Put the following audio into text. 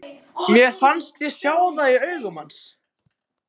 Mér fannst ég sjá það í augum hans.